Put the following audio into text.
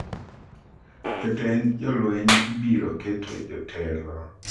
Jotend jolweny ibiro keto jotelo e piny Zimbabwe